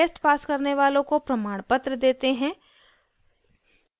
online test pass करने वालों को प्रमाणपत्र देते हैं